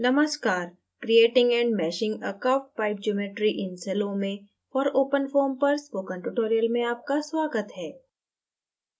नमस्कार creating and meshing a curvedpipe geometry in salome for openfoam पर spoken tutorial में आपका स्वागत है